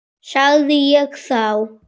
sagði ég þá.